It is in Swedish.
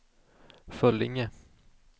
Föllinge